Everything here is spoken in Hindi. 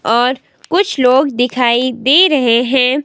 और कुछ लोग दिखाई दे रहें हैं।